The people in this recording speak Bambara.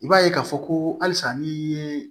I b'a ye k'a fɔ ko halisa ni ye